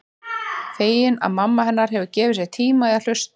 Fegin að mamma hennar hefur gefið sér tíma til að hlusta.